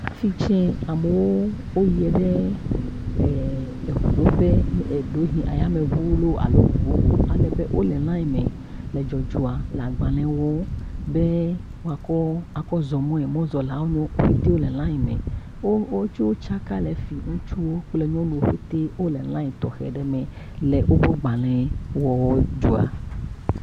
Afi tsɛ, amewo yie ɖe ee ŋuɖoƒe ɖewohi yameŋu alo ŋu bubu ale be wolé liaŋ me le dzɔdzɔa le agbalẽ wɔɔ be woakɔ azɔ̃ mɔe, mɔzɔ̃lawoe wonye, wo petɛ le liaŋ me. Wo wotsaka le fi yi. Ŋutsuwo kple nyɔnuwo petɛ wole liaŋ tɔxɛ ɖe me le woƒe agbalẽ wɔwɔ dzɔa.